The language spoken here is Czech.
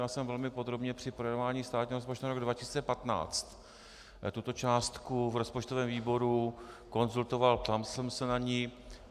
Já jsem velmi podrobně při projednávání státního rozpočtu na rok 2015 tuto částku v rozpočtovém výboru konzultoval, ptal jsem se na ni.